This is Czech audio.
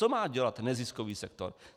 Co má dělat neziskový sektor?